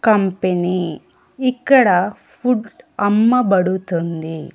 Company ఇక్కడ food అమ్మబడుతుంది.